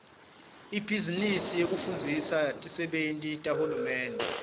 ibhizinisi yekufundzisa tisebenti tahulumende